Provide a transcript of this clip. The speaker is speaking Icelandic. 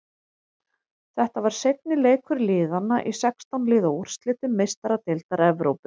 Þetta var seinni leikur liðana í sextán liða úrslitum Meistaradeildar Evrópu.